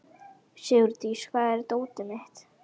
Sigurdís, hvar er dótið mitt?